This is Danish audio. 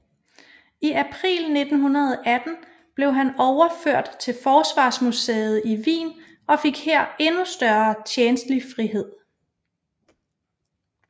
I april 1918 blev han overført til forsvarsmuseet i Wien og fik her endnu større tjenstlig frihed